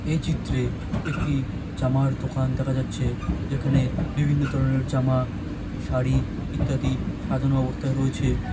এই চিত্রে একটি জামার দোকান দেখা যাচ্ছে যেখানে বিভিন্ন ধরনের জামা শাড়ি ইত্যাদি সাজানো অবস্থায় রয়েছে।